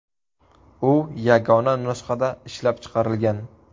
U yagona nusxada ishlab chiqarilgan.